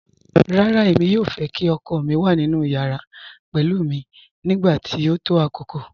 Rárá, èmi yòò fẹ́ kí ọkọ mi wà nínu yàrà pẹ̀lú mi nígbàtí o tó àkókò